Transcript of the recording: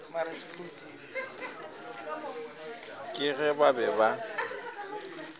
ka ge ba be ba